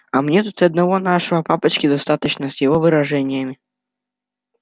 а мне тут и одного нашего папочки достаточно с его выражениями